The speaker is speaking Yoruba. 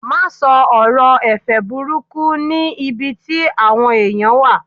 ma sọ ọrọ ẹ̀fẹ̀ burúkú ni ibi tí awọn eniyan wa